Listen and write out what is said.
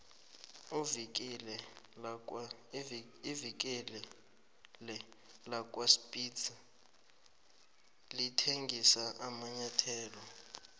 ivikile lakwaspitz lithengisa amanyathelo